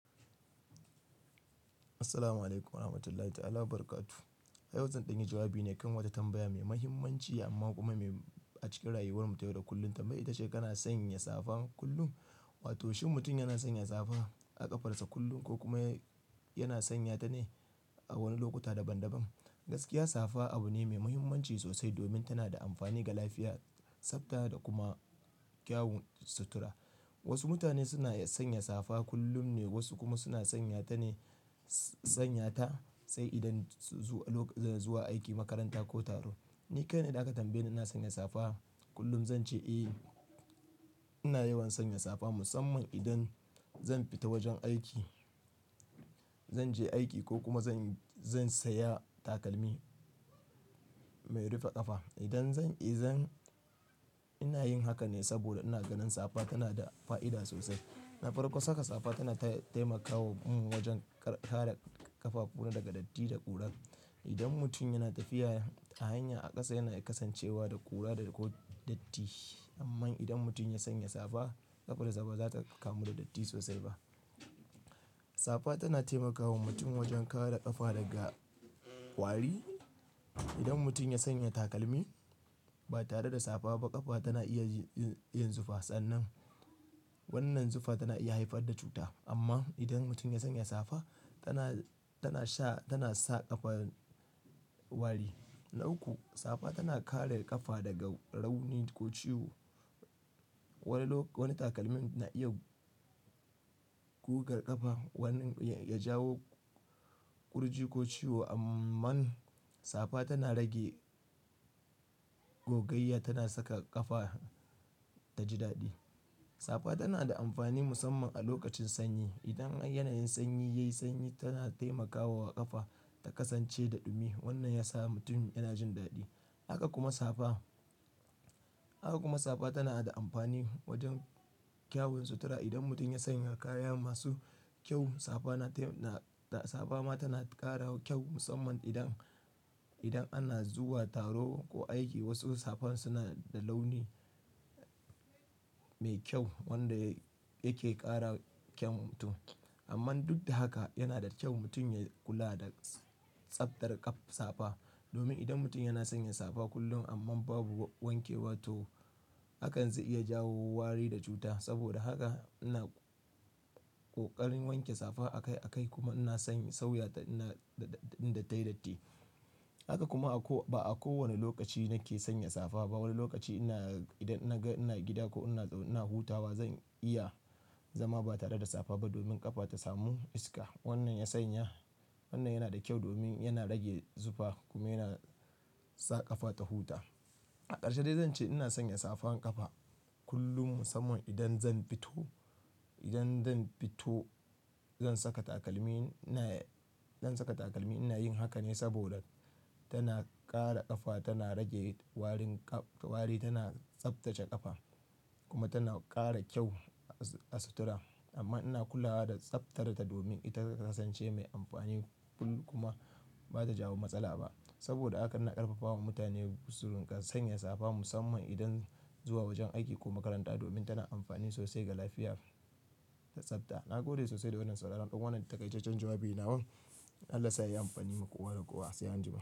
Assalamu alaikum warahmatullahi ta'ala barakatuh. Yau zan dan yi jawabi ne kan wata tambaya mai mahimmanci amma kuma mai a cikin rayuwar mu ta yau da kullum. Tambayan ita ce, kana sanya safa kullum? Wato shin mutum yana sanya safa a ƙafarsa kullum ko kuma yana sanya ta ne a wani lokuta daban-daban? Gaskiya safa abu ne mai mahimmanci sosai domin tana da amfani ga lafiya, tsafta da kuma kyawun sutura. Wasu mutane suna sanya safa kullum ne, wasu kuma suna sanya ta ne sanya ta sai idan zuwa lokutan zuwa aiki, makaranta ko taro. Ni kai na idan aka tambaye ni na sanya safa kullum zan ce eh, ina yawan sanya safa musamman idan zan fita wajen aiki, zan je aiki ko kuma zan, zan saya takalmi mai rufe ƙafa. Idan zan, idan ina yin haka ne saboda ina ganin safa tana da fa'ida sosai. Na farko, saka safa tana taimakawa mun wajen kare ƙafafu na daga datti da ƙura. Idan mutum yana tafiya a hanya a ƙasa yana kasancewa da ƙura da ko datti. Amma idan mutum ya sanya safa, ƙafarsa ba za ta kamu da datti sosai ba. Safa tana taimakawa mutum wajen kare ƙafa daga ƙwari. Idan mutum ya sanya takalmi ba tare da safa ba, ƙafa tana iya yin zufa. Sannan wannan zufa tana iya haifar da cuta. Amma idan mutum ya sanya safa, tana, tana sha, tana sa ƙafa wari. Na uku, safa tana kare ƙafa daga rauni ko ciwo. Wani lok wani takalmi na iya gugar ƙafa, wani ya jawo ƙurji ko ciwo. Ammmman safa tana rage gogayya, tana saka ƙafa ta ji daɗi. Safa tana da amfani musamman a lokacin sanyi. Idan yanayin sanyi, yayi sanyi tana taimakawa ƙafa ta kasance da dumi. Wannan ya sa mutum yana jin daɗi. Haka kuma safa, haka kuma safa tana da amfani wajen kyawun sutura. Idan mutum ya sanya kaya masu kyau, safa na taya, safa ma tana ƙara kyau musamman idan, idan ana zuwa taro wa aiki. Wasu safan suna da launi mai kyau wanda yake ƙara kyau mutum. Amman duk da haka yana da kyau mutum ya kula da tsaftar ƙafa safa. Domin idan mutum yana sanya safa kullum amma babu wanke wato, hakan zai iya jawo wari da cuta. Saboda haka ina ƙoƙarin wanke safa akai akai kuma ina sanye sauya da ina inda tayi datti. Haka kuma a ko ba a kowane lokaci nake sanya safa ba. Wani lokaci ina idan naga ina gida ko ina, ina hutawa zan iya zama ba tare da safa ba domin ƙafa ta samu iska. Wannan ya sanya, wannan yana da kyau domin yana rage zufa kuma yana sa ƙafa ta huta. A ƙarshe dai zan ce ina sanya safan ƙafa kullum musamman idan zan fito, idan zan fito zan saka takalmi. Zan saka takalmi. Ina yin haka ne saboda tana ƙara ƙafa, tana rage warin ƙaf wari, tana tsaftace ƙafa kuma tana ƙara kyau a sutura. Amma ina kula da tsaftar ta domin ita ta kasance mai amfani kullum kuma ba ta jawo matsala ba. Saboda haka ina ƙarfafawa mutane su ƙa sanya safa musamman idan zuwa wajen aiki ko makaranta domin tana amfani sosai ga lafiya da tsafta. Na gode sosai da wannan sauraran ɗan wannan taƙaitachan jawabin nawa. Allah sa zai amfani ma kowa da kowa. Sai anjima.